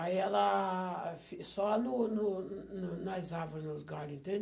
Aí ela... fi só no no no nas árvore, nos galho, entende?